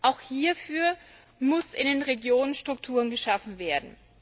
Auch hierfür müssen in den Regionen Strukturen geschaffen werden.